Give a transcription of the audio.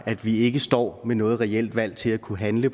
at vi ikke står med noget reelt valg til at kunne handle